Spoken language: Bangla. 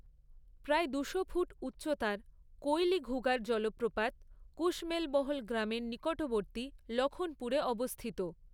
প্রায় দুশো ফুট উচ্চতার কৈলিঘুগার জলপ্রপাত, কুশমেলবহল গ্রামের নিকটবর্তী লখনপুরে অবস্থিত।